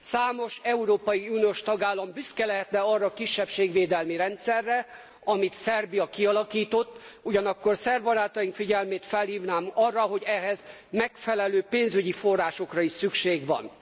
Számos európai uniós tagállam büszke lehetne arra a kisebbségvédelmi rendszerre, amit Szerbia kialakított, ugyanakkor szerb barátaink figyelmét felhívnám arra, hogy ehhez megfelelő pénzügyi forrásokra is szükség van.